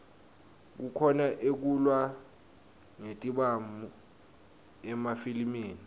kukhona ekulwa ngetibhamu emafilimi